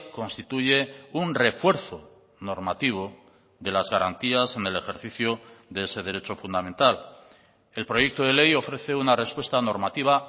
constituye un refuerzo normativo de las garantías en el ejercicio de ese derecho fundamental el proyecto de ley ofrece una respuesta normativa